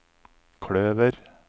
kløver